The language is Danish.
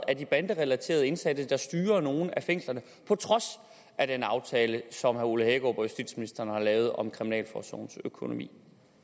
er de banderelaterede indsatte der styrer nogle af fængslerne på trods af den aftale som herre ole hækkerup og justitsministeren har lavet om kriminalforsorgens økonomi